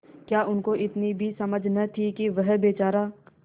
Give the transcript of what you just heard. क्या उनको इतनी भी समझ न थी कि यह बेचारा